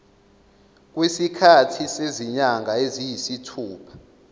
kwesikhathi sezinyanga eziyisithupha